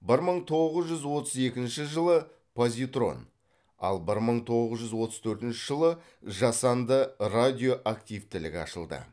бір мың тоғыз жүз отыз екінші жылы позитрон ал бір мың тоғыз жүз отыз төртінші жылы жасанды радиоактивтілік ашылды